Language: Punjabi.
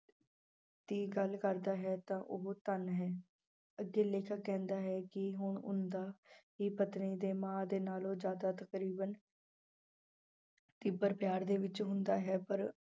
ਦੀ ਗੱਲ ਕਰਦਾ ਹੈ ਤਾਂ ਉਹ ਧਨ ਹੈ, ਅੱਗੇ ਲੇਖਕ ਕਹਿੰਦਾ ਹੈ ਕਿ ਹੁਣ ਉਹਨਾਂ ਦਾ ਹੀ ਪਤਨੀ ਦੇ ਮਾਂ ਦੇ ਨਾਲੋਂ ਜ਼ਿਆਦਾ ਤਕਰੀਬਨ ਤੀਬਰ ਪਿਆਰ ਦੇ ਵਿੱਚ ਹੁੰਦਾ ਹੈ ਪਰ